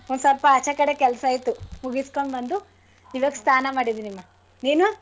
ಒಂದ್ ಸ್ವಲ್ಪ ಆಚೆಕಡೆ ಕೆಲ್ಸ ಇತ್ತು ಮುಗಿಸ್ಕೊಂಡ್ ಬಂದು ಈವಾಗ್ ಸ್ನಾನ ಮಾಡಿದೀನಿಮಾ ನೀನು?